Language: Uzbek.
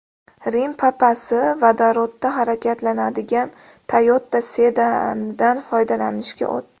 Rim Papasi vodorodda harakatlanadigan Toyota sedanidan foydalanishga o‘tdi .